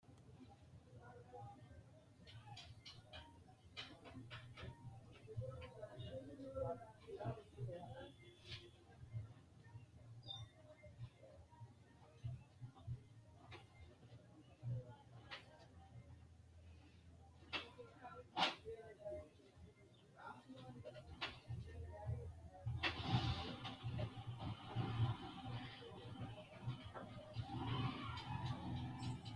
Kuri gobbuwa tenne qaafo adhitinohu mannu mitteenni xaadannowa lawishshaho, gambooshshu dargubbara, sagaletenna bunu minnara, loosunna rosu minnara, aggannori aggannokkire daaffannokki gedeeti.